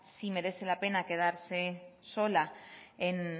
si merece la pena quedarse sola